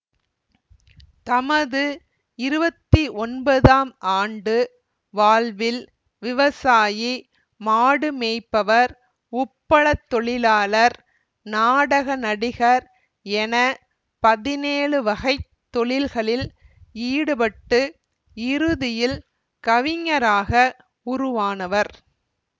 தமது இருவத்தி ஒன்போது ஆம் ஆண்டு வாழ்வில் விவசாயி மாடு மேய்ப்பவர் உப்பளத் தொழிலாளர் நாடக நடிகர் என பதினேழு வகை தொழில்களில் ஈடுபட்டு இறுதியில் கவிஞராக உருவானவர்